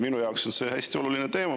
Minu jaoks on see hästi oluline teema.